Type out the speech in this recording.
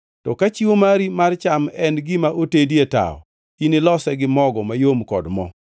To ka chiwo mari mar cham en gima otedi e tawo, inilose gi mogo mayom kod mo.